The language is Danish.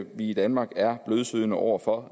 vi i danmark er blødsødne over for